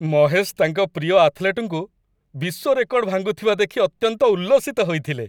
ମହେଶ ତାଙ୍କ ପ୍ରିୟ ଆଥଲେଟ୍‌ଙ୍କୁ ବିଶ୍ୱ ରେକର୍ଡ ଭାଙ୍ଗୁଥିବା ଦେଖି ଅତ୍ୟନ୍ତ ଉଲ୍ଲସିତ ହୋଇଥିଲେ।